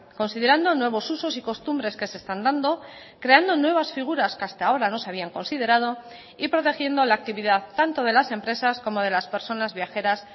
considerando nuevos usos y costumbres que se están dando creando nuevas figuras que hasta ahora no se habían considerado y protegiendo la actividad tanto de las empresas como de las personas viajeras